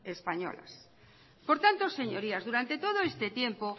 españolas por tanto señorías durante todo este tiempo